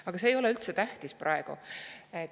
Aga see ei ole praegu üldse tähtis.